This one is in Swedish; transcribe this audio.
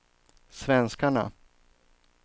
svenskarna